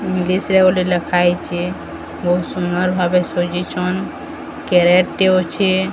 English ରେ ଗୋଟେ ଲେଖା ହେଇଚେ। ବୋହୁତ ସୁନ୍ଦର ଭାବେ ସଜେଚନ୍। କାରରେଟ ଟେ ଅଛେ।